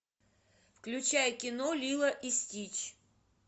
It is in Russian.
включай кино лило и стич